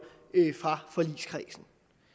fra forligskredsen